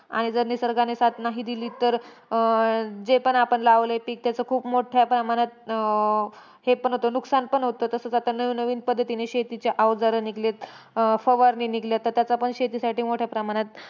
आणि जर निसर्गाने साथ नाही दिली तर, अं जे पण आपण लावले आहे पीक, त्याचे खूप मोठ्या प्रमाणात अं हे पण होतं, नुकसान पण होतं. तसंच आता नवीन नवीन पद्धतीने शेतीचे अवजार निघलेत, अं फवारणी निघलेत. तर त्याचा पण शेतीसाठी मोठ्या प्रमाणात,